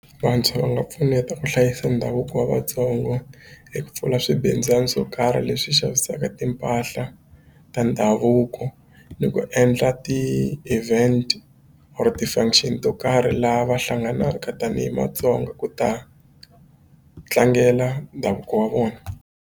Vantshwa va nga pfuneta ku hlayisa ndhavuko wa Vatsongo hi ku pfula swibindzwani swo karhi leswi xavisaka timpahla ta ndhavuko ni ku endla ti-event or ti-function to karhi laha va hlanganaka tanihi Matsonga ku ta tlangela ndhavuko wa vona.